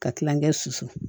Ka kilankɛ susu